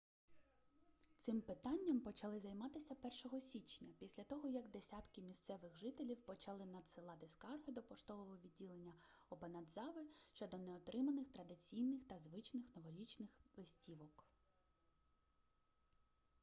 цим питанням почали займатися 1-го січня після того як десятки місцевих жителів почали надсилати скарги до поштового відділення обанадзави щодо неотриманих традиційних та звичних новорічних листівок